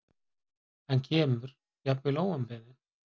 Hann kemur, jafnvel óumbeðinn.